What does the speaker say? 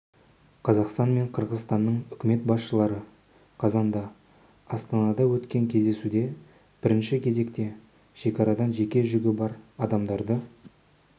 қазақстан мен қырғызстанның үкімет басшылары қазанда астанада өткен кездесуде бірінші кезекте шекарадан жеке жүгі бар адамдарды